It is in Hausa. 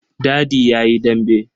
Dadi ya yi dambe.